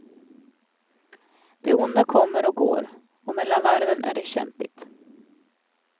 Det onda kommer och går, och mellan varven är det kämpigt.